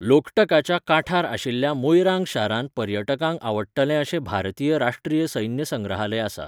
लोकटकाच्या कांठार आशिल्ल्या मोइरांग शारांत पर्यटकांक आवडटलें अशें भारतीय राष्ट्रीय सैन्य संग्रहालय आसा.